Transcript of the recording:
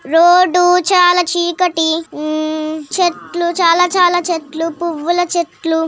Road చాలా చీకటి. చెట్లు చాలా చాలా చెట్లు పువ్వుల చెట్లు--